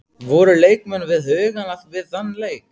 Voru leikmenn við hugann við þann leik?